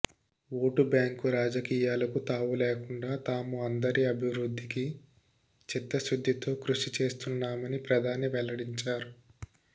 vote bank రాజకీయాలకు తావు లేకుండా తాము అందరి అభివృద్ధికి చిత్తశుద్ధితో కృషి చేస్తున్నామని ప్రధాని వెల్లడించారు